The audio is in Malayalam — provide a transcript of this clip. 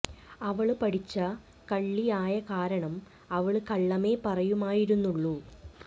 അവള് പഠിച്ച കള്ളി ആയ കാരണം അവള് കള്ളമേ പറയുമായിരുന്നുള്ളൂ